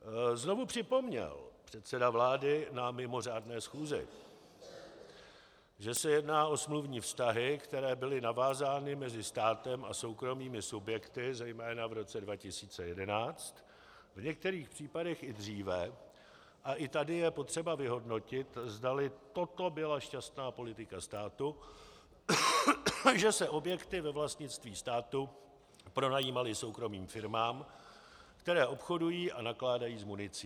Znovu připomněl předseda vlády na mimořádné schůzi, že se jedná o smluvní vztahy, které byly navázány mezi státem a soukromými subjekty zejména v roce 2011, v některých případech i dříve, a i tady je potřeba vyhodnotit, zdali toto byla šťastná politika státu, že se objekty ve vlastnictví státu pronajímaly soukromým firmám, které obchodují a nakládají s municí.